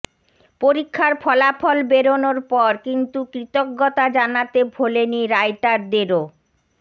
পরীক্ষার ফলাফল বেরোনোর পর কিন্তু কৃতজ্ঞতা জানাতে ভোলেনি রাইটারদেরও